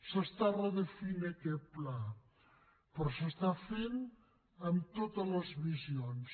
s’està redefinint aquest pla però s’està fent amb totes les visions